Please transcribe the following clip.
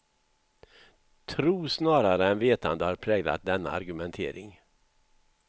Tro snarare än vetande har präglat denna argumentering.